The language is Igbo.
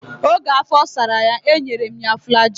Oge afọ sara ya, e nyere m ya flajil.